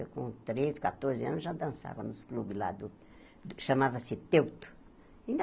Eu, com treze, catorze anos, já dançava nos clubes lá do que chamava-se teuto.